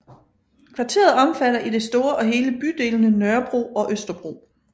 Kvarteret omfatter i det store og hele bydelene Nørrebro og Østerbro